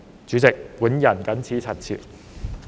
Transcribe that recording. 主席，本人謹此陳辭。